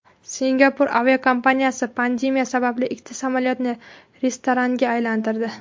Singapur aviakompaniyasi pandemiya sababli ikkita samolyotni restoranga aylantirdi.